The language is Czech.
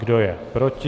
Kdo je proti?